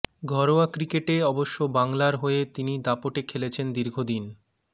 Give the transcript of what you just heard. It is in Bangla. ঘরোয়া ক্রিকেটে অবশ্য বাংলার হয়ে তিনি দাপটে খেলেছেন দীর্ঘ দিন